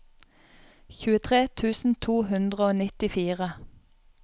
tjuetre tusen to hundre og nittifire